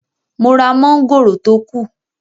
Mo ra mọ́ngòrò tó kù